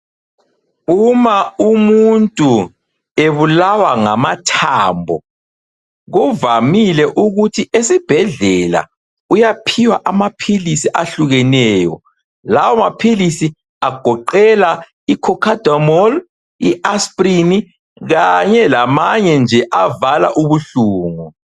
Uma umuntu ebulawa ngamathambo kuvamile ukuthi esibhedlela uyaphiwa amaphilisi ahlukeneyo lawo maphilisi agoqela i- cocodamol i-asprin kanye labanye nje avala ubuhlungu.